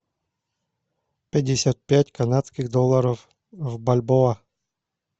пятьдесят пять канадских долларов в бальбоа